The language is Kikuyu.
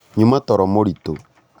nyuma toro mũritũ